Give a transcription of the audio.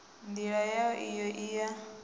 ndila yau iyo i ya